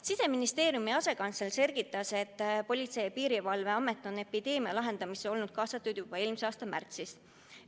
Siseministeeriumi asekantsler selgitas, et Politsei- ja Piirivalveamet on epideemia lahendamisse olnud kaasatud juba eelmise aasta märtsist.